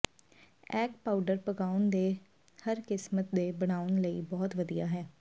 egg powder ਪਕਾਉਣਾ ਦੇ ਹਰ ਕਿਸਮ ਦੇ ਬਣਾਉਣ ਲਈ ਬਹੁਤ ਵਧੀਆ ਹੈ